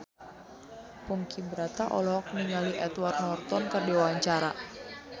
Ponky Brata olohok ningali Edward Norton keur diwawancara